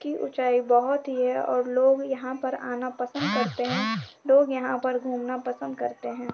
की ऊँचाई बहोत ही है और लोग यहाँ पर आना पसंद करते हैं। लोग यहाँ पर घूमना पसंद करते हैं।